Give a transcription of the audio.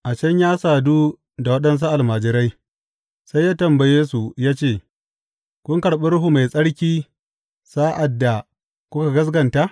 A can ya sadu da waɗansu almajirai, sai ya tambaye, su ya ce, Kun karɓi Ruhu Mai Tsarki sa’ad da kuka gaskata?